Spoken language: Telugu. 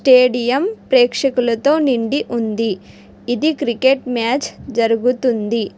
స్టేడియం ప్రేక్షకులతో నిండి ఉంది ఇది క్రికెట్ మ్యాచ్ జరుగుతుంది.